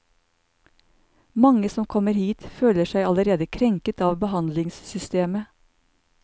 Mange som kommer hit, føler seg allerede krenket av behandlingssystemet.